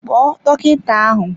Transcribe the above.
Kpo dọkịta ahụ!